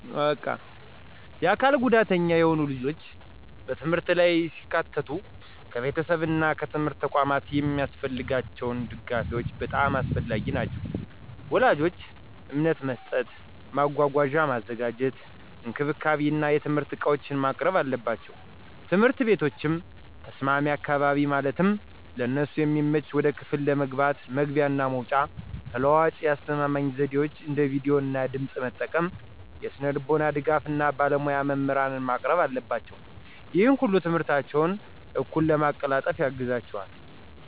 የአካል ጉዳተኛ የሆኑ ልጆች በትምህርት ላይ ሲካተቱ ከቤተሰብ እና ከትምህርት ተቋማት የሚያስፈልጋቸው ድጋፎች በጣም አስፈላጊ ናቸው። ወላጆች እምነት መስጠት፣ መጓጓዣ ማዘጋጀት፣ እንክብካቤ እና የትምህርት ዕቃዎችን ማቅረብ አለባቸው። ትምህርት ቤቶችም ተስማሚ አካባቢ ማለትም ለእነሱ የሚመች ወደ ክፍል ለመግባት መግቢያ እና መውጫ፣ ተለዋዋጭ የአስተማማኝ ዘዴዎች አንደ ቪዲዮ እና ድምጽ መጠቀም፣ የስነልቦና ድጋፍ እና ባለሞያ መምህራንን ማቅረብ አለባቸው። ይህ ሁሉ ትምህርታቸውን እኩል ለማቀላጠፍ ያግዛቸዋል።